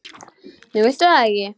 Nú viltu það ekki?